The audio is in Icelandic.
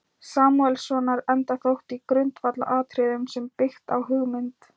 Samúelssonar, enda þótt í grundvallaratriðum sé byggt á hugmynd